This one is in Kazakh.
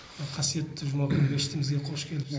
қасиетті жұма күні мешітімізге қош келіпсіз